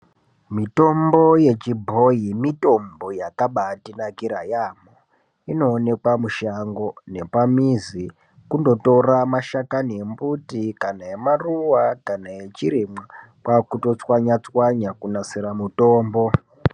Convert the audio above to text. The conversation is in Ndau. Mitombo yechi bhoyi mitombo yakaba ndi nakira yambo ino onekwa mishango nepa mizi kundo tora ma dhlakani embuti kana ema ruva kana echi rimwa kwakuto tswanya tswanya ku nasire mitombo.